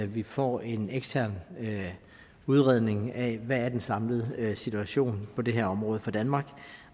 vi får en ekstern udredning af hvad der er den samlede situation på det her område for danmark